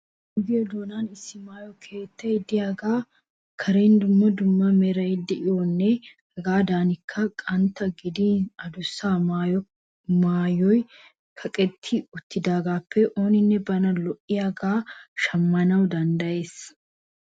Ogiya doonan issi maayo keettay de'iyagaa karen dumma dumma meraara de'iyanne hegaadankka qanttaa gidin adussa maayoy kaqetti uttidaagaappe ooninne bana lo'iyagaa shammana danddayees.